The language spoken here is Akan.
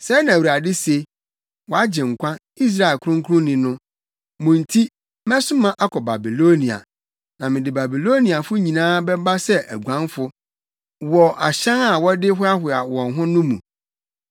Sɛɛ na Awurade se, wʼAgyenkwa, Israel Kronkronni no: “Mo nti, mɛsoma akɔ Babilonia, na mede Babiloniafo nyinaa bɛba sɛ aguanfo wɔ ahyɛn a wɔde hoahoa wɔn ho no mu.